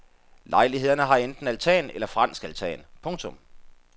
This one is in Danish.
Lejlighederne har enten altan eller fransk altan. punktum